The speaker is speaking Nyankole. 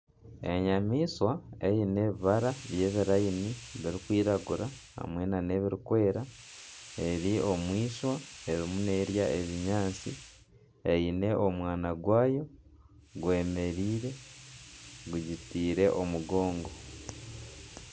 Enyamaishwa eine ebirayini birikwiragura hamwe nana ebirikwera eri omu eishwa erimu neerya ebinyaatsi eine omwana gwaayo gwemereire gugiterire omugongo.